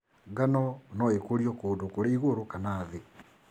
Ngano nũĩkũrio kũndũ kũrĩ ĩgũrũ kana thĩ.